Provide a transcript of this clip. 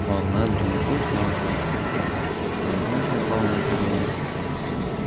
волна дремоты снова охватила генри голова его упала на колени